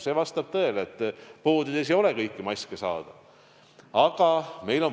See vastab tõele, et poodides ei ole kõiki maske saada.